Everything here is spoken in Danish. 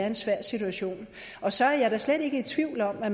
en svær situation og så er jeg da slet ikke i tvivl om at